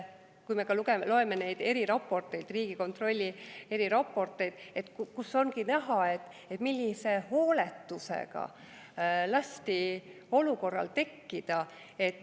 Kui me loeme neid eriraporteid, Riigikontrolli eriraporteid, siis on näha, millise hooletusega lasti sellel olukorral tekkida.